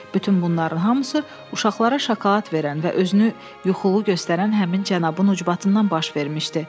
Bütün bunların hamısı uşaqlara şokolad verən və özünü yuxulu göstərən həmin cənabın ucbatından baş vermişdi.